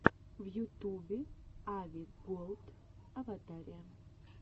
в ютубе ави голд аватария